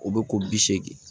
O bɛ ko bi seegin